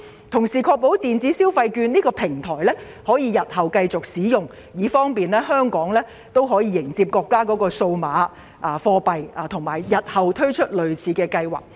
同時，政府應確保電子消費券的平台系統日後可繼續使用，以便香港配合國家的數碼貨幣計劃和再次推出類似計劃。